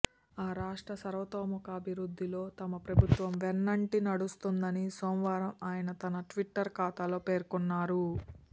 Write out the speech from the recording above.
ఆ రాష్ట్ర సర్వతోముఖాభివృద్ధిలో తమ ప్రభుత్వం వెన్నంటి నడుస్తుందని సోమవారం ఆయన తన ట్విట్టర్ ఖాతాలో పేర్కొన్నారు